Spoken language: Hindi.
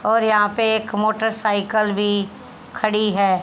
और यहां पे एक मोटरसाइकिल भी खड़ी है।